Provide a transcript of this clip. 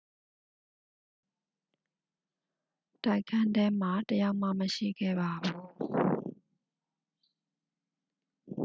တိုက်ခန်းထဲမှာ တစ် ယောက်မှ မရှိခဲ့ပါဘူး